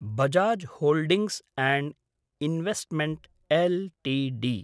Bajaj holdings and investment LTD